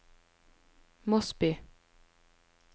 Mosby